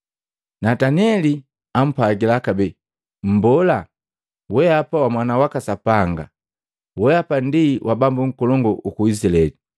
Nataneli ampwagila kabee, “Mbola, weapa wa Mwana waka Sapanga, weapa ndi wa Bambu nkolongu uku Izilaeli.”